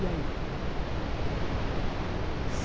E aí?